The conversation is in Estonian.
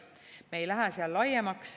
Me ei lähe seal laiemaks.